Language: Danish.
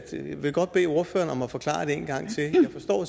vil godt bede ordføreren om at forklare det en gang